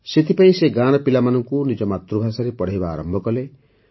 ସେଥିପାଇଁ ସେ ଗାଁର ପିଲାମାନଙ୍କୁ ନିଜ ମାତୃଭାଷାରେ ପଢ଼ାଇବା ଆରମ୍ଭ କଲେ